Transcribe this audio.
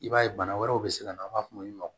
I b'a ye bana wɛrɛw bɛ se ka na an b'a fɔ olu ma